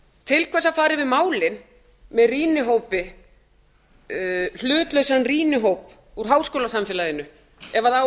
til hvers að fara yfir málin með rýnihópi hlutlausum rýnihópi úr háskólasamfélaginu ef það á